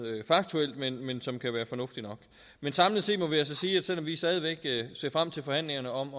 faktuelt men men som kan være fornuftig nok men samlet set må vi altså sige at selv om vi stadig væk ser frem til forhandlingerne om